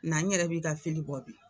Na n yɛrɛ b'i ka bɔ bi!